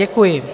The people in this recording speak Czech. Děkuji.